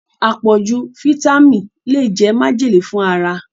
Apoju fáítámínì le jẹ majele fun ara